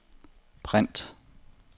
print